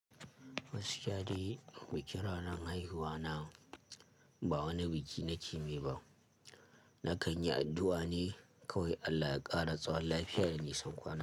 Gas kiyade, bikin ranar haihuwana ba wani biki na kemai ba, na kan yi addu'a ne kawai Allah ya ƙara tsawon lafiya da nisan kwananta.